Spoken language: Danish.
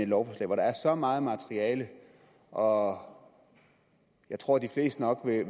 lovforslag hvor der er så meget materiale og jeg tror de fleste nok vil